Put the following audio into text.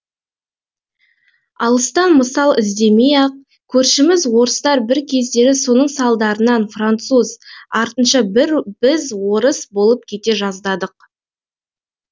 алыстан мысал іздемей ақ көршіміз орыстар бір кездері соның салдарынан француз артынша біз орыс болып кете жаздадық